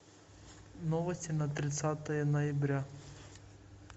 новости на тридцатое ноября